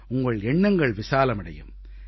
உங்கள் எண்ணங்கள் விசாலமடையும்